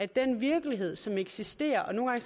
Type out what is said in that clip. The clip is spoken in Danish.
den virkelighed som eksisterer og nogle